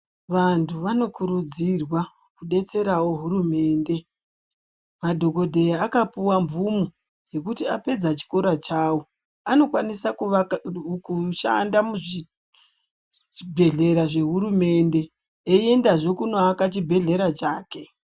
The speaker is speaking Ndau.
Vantu vanokurudzirwa kudetserawo hurumende, madhokodheya akapuwa mvumo yekuti vapedza chikora chavo vanokwanisa kushanda muzvibhehlera zvehurumende veiyenda zve kunoaka chibhedhera chake.